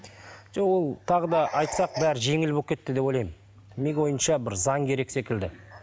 жоқ ол тағы да айтсақ бәрі жеңіл болып кетті деп ойлаймын менің ойымша бір заң керек секілді